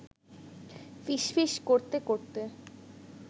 ফিসফিস করতে করতে